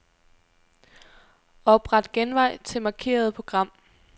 Opret genvej til markerede program.